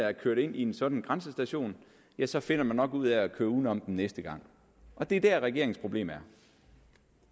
er kørt ind ved en sådan grænsestation ja så finder man nok ud af at køre uden om den næste gang og det er der regeringens problem